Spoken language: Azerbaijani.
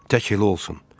Tək elə olsun.